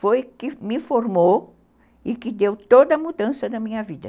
foi que me formou e que deu toda a mudança na minha vida.